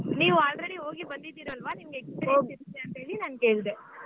ನೀವ್ already ಹೋಗಿ ಬಂದಿದ್ದೀರಲ್ವಾ ನಿಮ್ಗೆ experience ಇರುತ್ತೆ ಅಂತೇಳಿ ನಾನು ಕೇಳ್ದೆ.